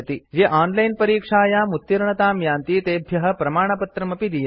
ये ओनलाइन् परीक्षायां उत्तीर्णतां यान्ति तेभ्य प्रमाणपत्रमपि दीयते